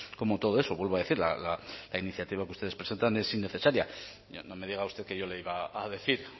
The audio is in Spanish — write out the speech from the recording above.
como todo eso vuelvo a decir la iniciativa que ustedes presentan es innecesaria ya no me diga usted que yo le iba a decir